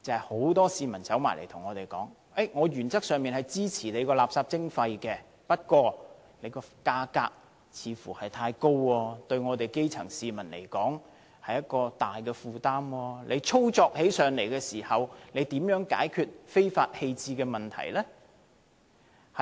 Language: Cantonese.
很多市民告訴我們，他們原則上支持垃圾徵費，但收費似乎太高，對基層市民而言是沉重負擔，而且操作時如何解決非法棄置廢物的問題？